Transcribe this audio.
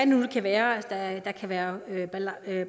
nu kan være der kan være